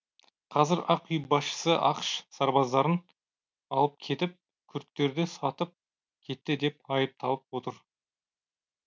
қазір ақ үй басшысы ақш сарбаздарын алып кетіп күрдтерді сатып кетті деп айыпталып отыр